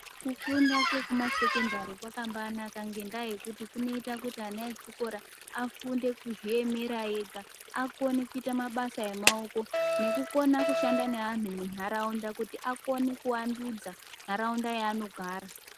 Kufunda kwekuma sekondari kwakambainaka ngendaa yekuti kunoita kuti ana echikora afunde kuzviemera ega, akone kuita mabasa emaoko nekukona kushanda nevanhu munharaunda kuti aone kuvandudza nharaunda yaanogara.